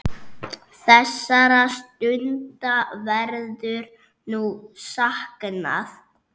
Þessara stunda verður nú saknað.